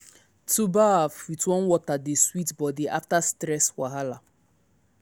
to baff with warm water dey sweet body after stress wahala.